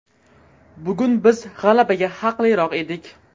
Bugun biz g‘alabaga haqliroq edik.